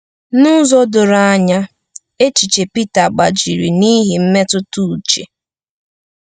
N’ụzọ doro anya, echiche Pita gbajiri n’ihi mmetụta uche.